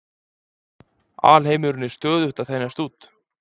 Alheimurinn er stöðugt að þenjast út.